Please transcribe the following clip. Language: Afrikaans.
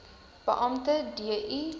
beampte d i